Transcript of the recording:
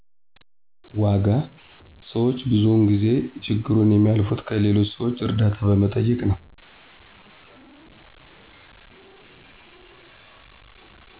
ዋጋ ሰዎች ብዙውን ጊዜ ችግሩን የሚያልፉት ከሌሎች ሰዎች እርዳታ በመጠየቅ ነው።